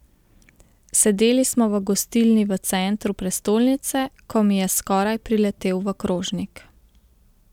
Sedeli smo v gostilni v centru prestolnice, ko mi je skoraj priletel v krožnik.